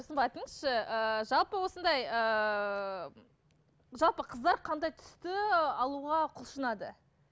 айтыңызшы ыыы жалпы осындай ыыы жалпы қыздар қандай түсті алуға құлшынады